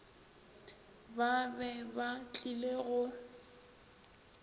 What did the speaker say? ba be ba tlile go